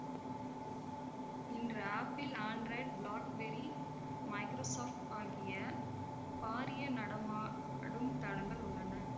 இன்று Apple Android BlackBerry Microsoft ஆகிய பாரிய நடமாடும் தளங்கள் உள்ளன